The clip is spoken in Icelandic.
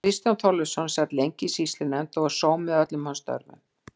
Kristján Þorleifsson sat lengi í sýslunefnd og var sómi að öllum hans störfum.